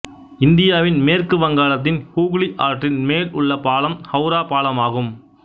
இந்தியாவின் மேற்கு வங்காளத்தின் ஹூக்ளி ஆற்றின் மேல் உள்ள பாலம் ஹௌரா பாலமாகும்